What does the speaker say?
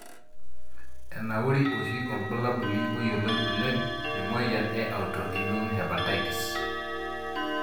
Enauri oshi orbulabuli oyioloi oleng temoyian e autoimmune hepatitis.